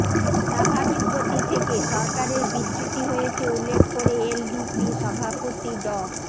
স্বাভাবিক গতি থেকে সরকারের বিচ্যুতি হয়েছে উল্লেখ করে এলডিপি সভাপতি ড